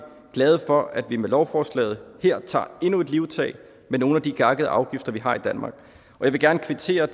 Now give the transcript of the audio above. glade for at vi med lovforslaget her tager endnu et livtag med nogle af de gakkede afgifter vi har i danmark jeg vil gerne kvittere